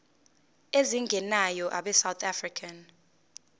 ezingenayo abesouth african